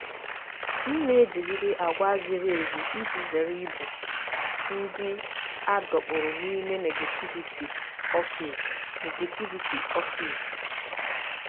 M na-ejigide àgwà ziri ezi iji zere ịbụ ndị a dọkpụrụ n'ime negativity ọfịs. negativity ọfịs.